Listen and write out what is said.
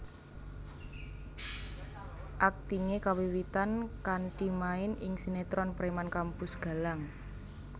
Aktingé kawiwitan kanthi main ing sinetron Preman Kampus Galang